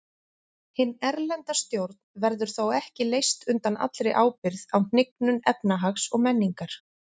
Hin erlenda stjórn verður þó ekki leyst undan allri ábyrgð á hnignun efnahags og menningar.